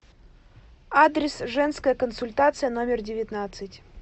адрес женская консультация номер девятнадцать